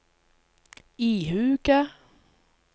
ihuga